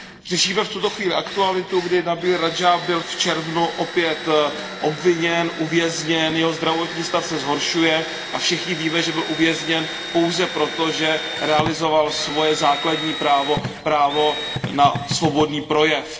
Řešíme v tuto chvíli aktualitu, kdy Nabíl Radžab byl v červnu opět obviněn, uvězněn, jeho zdravotní stav se zhoršuje, a všichni víme, že byl uvězněn pouze proto, že realizoval svoje základní právo, právo na svobodný projev.